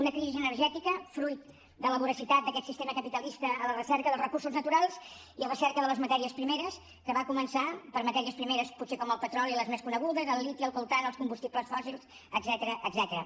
una crisi energètica fruit de la voracitat d’aquest sistema capitalista a la recerca dels recursos naturals i a la recerca de les matèries primeres que va començar per matèries primeres potser com el petroli les més conegudes el liti el coltan els combustibles fòssils etcètera